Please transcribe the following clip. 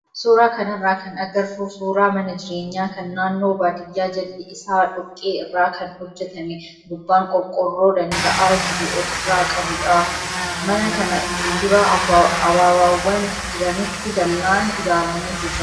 Suuraa kanarraa kan agarru suuraa mana jireenyaa kan naannoo baadiyyaa jalli isaa dhoqqee irraa kan hojjatame gubbaan qorqoorroo daanda'aa jiru ofirraa qabudha. Mana kana fuuldura ababaawwan jiranitti dallaan ijaarameetu jira.